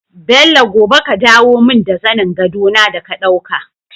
Bello gobe ka dawo mun da zanin gado na da ka ɗauka